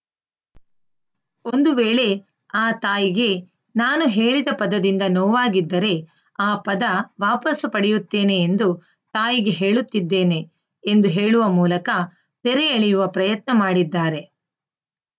ಒಂದು ವೇಳೆ ಆ ತಾಯಿಗೆ ನಾನು ಹೇಳಿದ ಪದದಿಂದ ನೋವಾಗಿದ್ದರೆ ಆ ಪದ ವಾಪಸು ಪಡೆಯುತ್ತೇನೆ ಎಂದು ತಾಯಿಗೆ ಹೇಳುತ್ತಿದ್ದೇನೆ ಎಂದು ಹೇಳುವ ಮೂಲಕ ತೆರೆ ಎಳೆಯುವ ಪ್ರಯತ್ನ ಮಾಡಿದ್ದಾರೆ